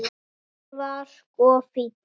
Gústi var sko fínn.